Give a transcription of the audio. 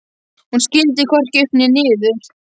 Hún skildi hvorki upp né niður.